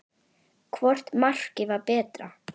Hvort markið var betra?